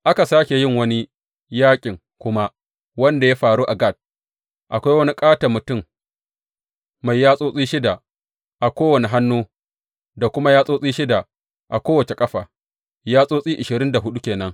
Aka sāke yin wani yaƙin kuma, wanda ya faru a Gat, akwai wani ƙaton mutum mai yatsotsi shida a kowane hannu da kuma yatsotsi shida a kowace ƙafa, yatsotsi ashirin da huɗu ke nan.